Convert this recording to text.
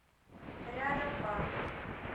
рядом парк